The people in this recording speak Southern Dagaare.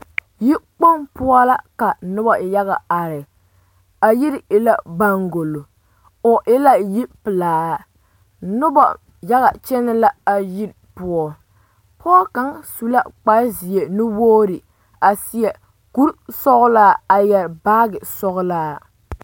Yikpoŋ poɔ la ka noba yaga are a yiri e la baŋgolo o e la yipelaa noba yaga kyɛnɛ la a yiri poɔ pɔge kaŋ su la kparezeɛ nuwogre a seɛ kurisɔglaa a yɛre baage sɔglaa.